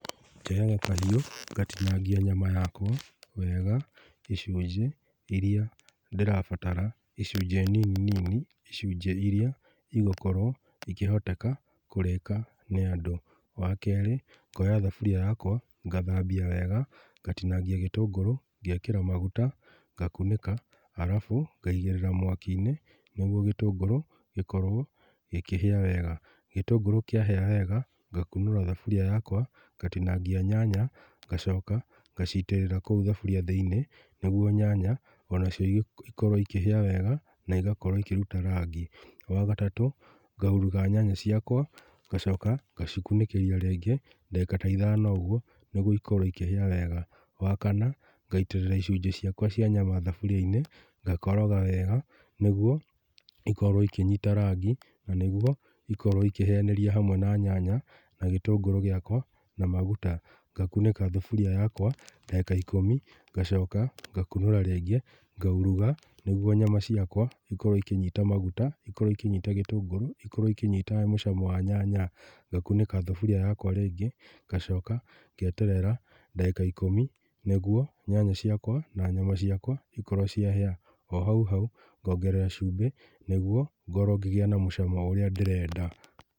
Njoyaga kahiũ ngatinangĩa nyama yakwa wega, icunjĩ iria ndĩrabatara, icunjĩ nini nini, icunjĩ iria igũkorwo ikĩhoteka kũrĩka nĩ andũ. Wa kerĩ, ngoya thaburia yakwa ngathambia wega, ngatinangia gĩtũngũrũ, ngekĩra maguta, ngakunĩka arabu ngaigĩrĩra mwaki-inĩ nĩguo gĩtũngũru gĩkorwo gĩkĩhĩa wega. Gĩtũngũrũ kĩahĩa wega, ngatinangia nyanya, ngacoka, ngacitĩrĩra kũu thaburia thĩinĩ, niguo nyanya onacio ikorwo ikĩhĩa wega na igakorwo ikĩruta rangi mwega. Wa gatatũ, ngauruga nyama ciakwa, ngacoka ngacikunĩkĩria rĩngĩ ta ndagĩka ithano ikorwo ikĩhĩa wega. Wa kana, ngaitĩrĩra icunjĩ ciakwa cia nyama thaburia-inĩ, ngakoroga wega nĩguo ikorwo ikĩnyita rangĩ na nĩguo ikorwo ikĩhĩanĩria hamwe na nyanya na gĩtũngũrũ gĩakwa na maguta. Ngakunĩka thaburia yakwa ndagĩka ikũmi ngacoka ngakunĩka rĩngĩ, ngauruga nĩguo nyama ciakwa cikorwo ikĩnyita maguta, ikorwo ikĩnyita gĩtũngũrũ, ikorwo ikĩnyita mũcamo wa nyanya. Ngakunĩka thaburia yakwa rĩngĩ, ngacoka ngeterera ndagĩka ikũmi nĩguo nyanya ciakwa na nyama ciakwa ikorwo ciahĩa. Ohau hau ngongerera cumbĩ nĩguo ngorwo ngĩgĩa na mũcamo ũrĩa ndĩrenda.